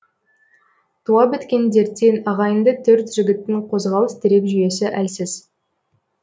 туа біткен дерттен ағайынды төрт жігіттің қозғалыс тірек жүйесі әлсіз